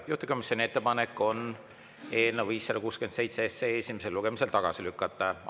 Juhtivkomisjoni ettepanek on eelnõu 567 esimesel lugemisel tagasi lükata.